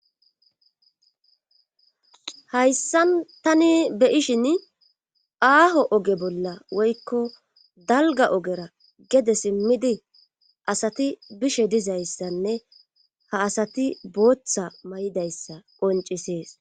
hayssan tani be ishin aaho oge bolla woykko dalga ogera gede simmidi asati bishe dizayssanne ha asati booththa may7idayssa qoncisees